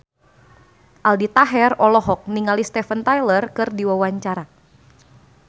Aldi Taher olohok ningali Steven Tyler keur diwawancara